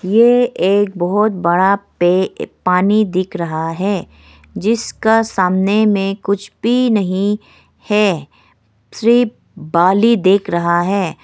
यह एक बहुत बड़ा पे पानी दिख रहा है जिसका सामने में कुछ भी नहीं है सिर्फ बाली दिख रहा है।